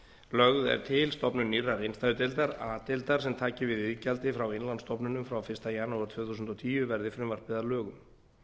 lögð er til stofnun nýrrar innstæðudeildar a deildar sem taki við iðgjaldi frá innlánsstofnunum frá fyrsta janúar tvö þúsund og tíu verði frumvarpið að lögum